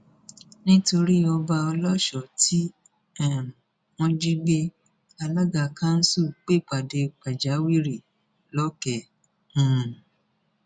nítorí ọba ọlọṣọ tí um wọn jí gbé alága kanṣu pèpàdé pàjáwìrì lọkẹ um